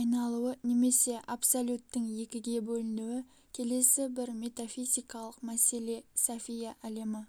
айналуы немесе абсолюттің екіге бөлінуі келесі бір метафизикалык мәселе софия әлемі